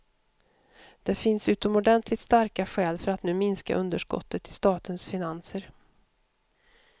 Det finns utomordentligt starka skäl för att nu minska underskottet i statens finanser.